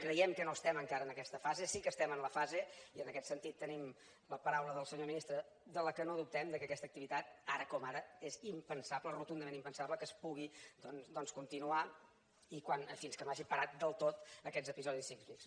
creiem que no estem encara en aquesta fase sí que estem en la fase i en aquest sentit tenim la paraula del senyor ministre de la qual no dubtem que aquesta activitat ara com ara és impensable rotundament impensable que es pugui doncs continuar fins que no hagin parat del tot aquests episodis sísmics